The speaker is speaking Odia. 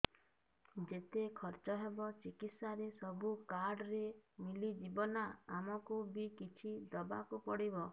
ଯେତେ ଖର୍ଚ ହେବ ଚିକିତ୍ସା ରେ ସବୁ କାର୍ଡ ରେ ମିଳିଯିବ ନା ଆମକୁ ବି କିଛି ଦବାକୁ ପଡିବ